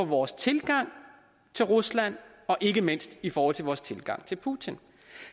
vores tilgang til rusland og ikke mindst i vores vores tilgang til putin